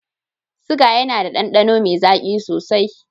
Siga yAna da dandano me zaki sosai